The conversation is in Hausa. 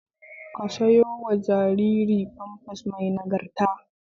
Ka sayo ma jariri famfas mai nagarta